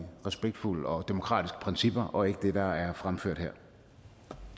respektfulde og demokratiske principper og ikke det der er fremført her